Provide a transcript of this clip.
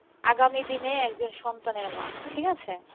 আগামী দিনে একজন সন্তানের মা, ঠিক আছে?